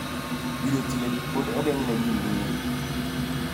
Yudo thieth pod ogeng� ne ji mang�eny.